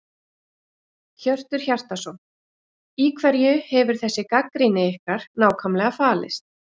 Hjörtur Hjartarson: Í hverju hefur þessi gagnrýni ykkar nákvæmlega falist?